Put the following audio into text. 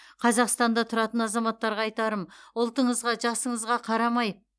қазақстанда тұратын азаматтарға айтарым ұлтыңызға жасыңызға қарамай